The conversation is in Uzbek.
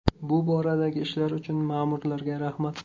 Bu boradagi ishlari uchun ma’murlarga rahmat.